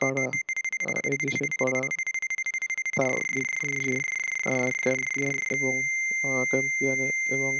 কারা এদেশের কারা পাও দ্বীপপুঞ্জে আহ ক্যাম্পিয়ান এবং মহাক্যাম্পিয়ানে এবং